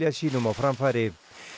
sínum á framfæri